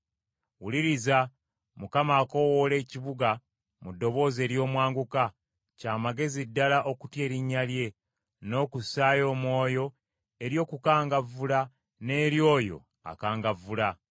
Wuliriza, Mukama akoowoola ekibuga mu ddoboozi ery’omwanguka. “Kya magezi ddala okutya erinnya lye, n’okussaayo omwoyo eri okukangavvula n’eri oyo akangavvula.